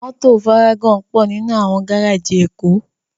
Mòtó várágòn pò ninú áwòn gáráji Ekó